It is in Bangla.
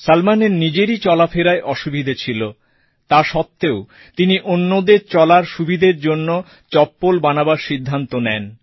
সলমনের নিজেরই চলাফেরায় অসুবিধে ছিল তা সত্ত্বেও তিনি অন্যদের চলার সুবিধার জন্য চপ্পল বানাবার সিদ্ধান্ত নেন